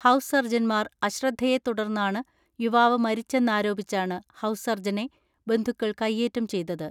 House സർജൻമാർ അശ്രദ്ധയെ തുടർന്നാണ് യുവാവ് മരിച്ചെന്നാരോപിച്ചാണ് ഹൗസ് സർജനെ ബന്ധുക്കൾ കൈയ്യേറ്റം ചെയ്തത്.